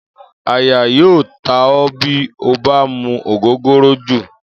Àyà yóò ta ó̩ bí o bá mu ògógóró jù